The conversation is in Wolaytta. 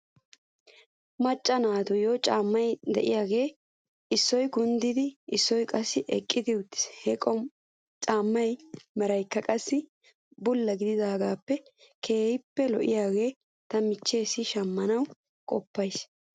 Macca naatiyoo caammay de'iyaagee issoy kunddin issoy qassi eqqiwttis. He caamaa meraykka qassi bulla gedidaagee keehippe lo'iyaagaa ta michcheessi shamanaw qoppas.